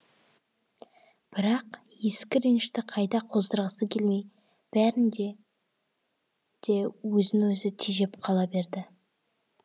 бірақ ескі ренішті қайта қоздырғысы келмей бәрінде де өзін өзі тежеп қала берді